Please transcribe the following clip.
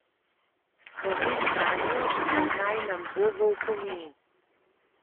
Spomin nanjo pa naj nam bo v opomin.